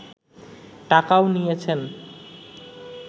টাকাও নিয়েছেন